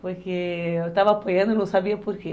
Porque eu estava apanhando e não sabia por quê.